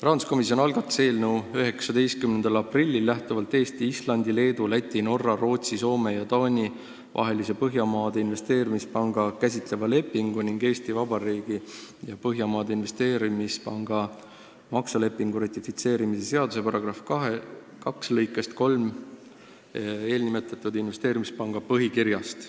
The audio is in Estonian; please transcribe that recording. Rahanduskomisjon algatas eelnõu 19. aprillil lähtuvalt Eesti, Islandi, Leedu, Läti, Norra, Rootsi, Soome ja Taani vahelise Põhjamaade Investeerimispanka käsitleva lepingu ning Eesti Vabariigi ja Põhjamaade Investeerimispanga makselepingu ratifitseerimise seaduse § 2 lõikest 3 ja eelnimetatud investeerimispanga põhikirjast.